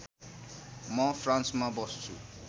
म फ्रान्समा बस्छु